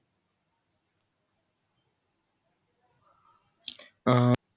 अं